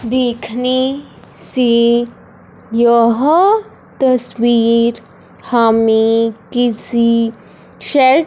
देखने से यह तस्वीर हमें किसी शे--